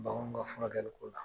Baganw ka furakɛli ko la.